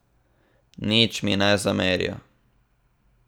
Nič mi ne zamerijo.